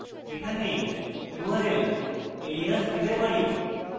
এখানে url alias দিতে পারি